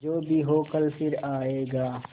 जो भी हो कल फिर आएगा